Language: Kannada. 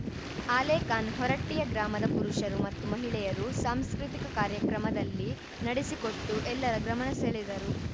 ಆಲೇಖಾನ್‌ ಹೊರಟ್ಟಿಯ ಗ್ರಾಮದ ಪುರುಷರು ಮತ್ತು ಮಹಿಳೆಯರು ಸಾಂಸ್ಕೃತಿಕ ಕಾರ್ಯಕ್ರಮದಲ್ಲಿ ನಡೆಸಿಕೊಟ್ಟು ಎಲ್ಲರ ಗಮನ ಸೆಳೆದರು